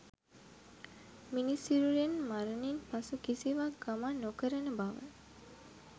මිනිස් සිරුරෙන් මරණින් පසු කිසිවක් ගමන් නොකරන බව